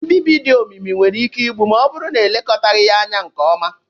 Mbibi dị omimi nwere ike igbu, ma ọ bụrụ na elekọtaghị ya nke ọma.